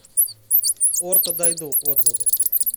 орто дойду отзывы